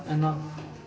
að